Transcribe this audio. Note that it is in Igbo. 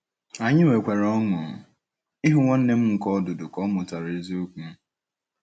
Anyị nwekwara ọṅụ ịhụ nwanne m nke ọdụdụ ka ọ mụtara eziokwu.